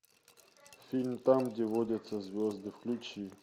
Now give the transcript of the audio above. фильм там где водятся звезды включи